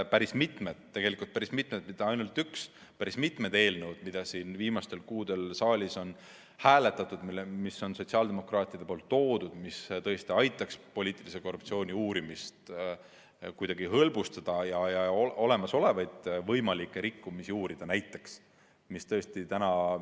Päris mitmed eelnõud – tõesti päris mitmed, mitte ainult üks eelnõu, vaid mitmed eelnõud –, mida siin viimastel kuudel saalis on hääletatud, mis on sotsiaaldemokraatide esitatud ja mis tõesti aitaks poliitilise korruptsiooni uurimist hõlbustada ja olemasolevaid võimalikke rikkumisi uurida, on maha hääletatud.